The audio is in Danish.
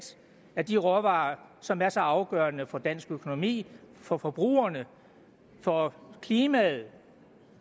af de råvarer som er så afgørende for dansk økonomi for forbrugerne for klimaet